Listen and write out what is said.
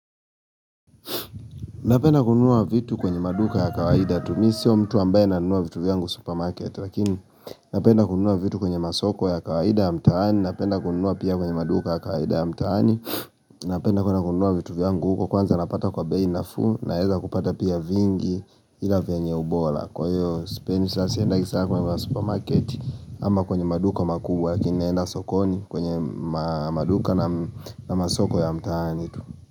Napenda kununua vitu kwenye maduka ya kawaida tu mimi siyo mtu ambaye nanunua vitu vyangu supermarket lakini napenda kununua vitu kwenye masoko ya kawaida ya mtaani napenda kununua pia kwenye maduka ya kawaida ya mtaani napenda kuenda kununua vitu vyangu huko kwanza napata kwa bei nafuu naeza kupata pia vingi ila venye ubola kwa hiyo sipendi sa siendagi sana kwa masupermarket ama kwenye maduka makubwa lakini naenda sokoni kwenye maduka na masoko ya mtaani tu.